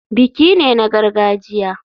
Biki ne na gargajiya.